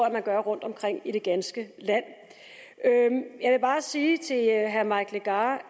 at man gør rundtomkring i det ganske land jeg vil bare sige til herre mike legarth